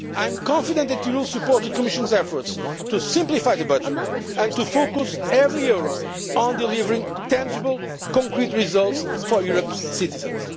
I am confident that you will support the Commission's efforts to simplify the budget and to focus every euro on delivering tangible, concrete results for Europe's citizens.